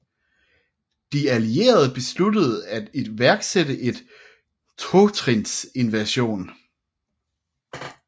De Allierede besluttede at iværksætte en totrinsinvasion